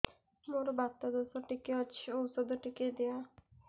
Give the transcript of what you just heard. ମୋର୍ ବାତ ଦୋଷ ଟିକେ ଅଛି ଔଷଧ ଟିକେ ଦିଅ